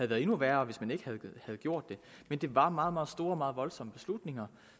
været endnu værre hvis man ikke havde gjort det men det var meget meget store og meget voldsomme beslutninger